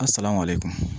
A salamale kɔnɔ